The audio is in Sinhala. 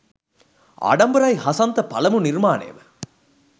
ආඩම්බරයි හසන්ත පළමු නිර්මානය ම